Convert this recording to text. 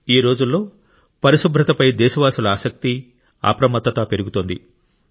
ఈరోజుల్లో పరిశుభ్రత పై దేశవాసుల ఆసక్తి అప్రమత్తత పెరుగుతోంది